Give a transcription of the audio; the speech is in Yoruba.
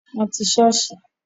Wọn ti sọ́ọ̀sì